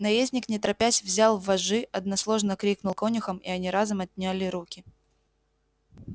наездник не торопясь взял вожжи односложно крикнул конюхам и они разом отняли руки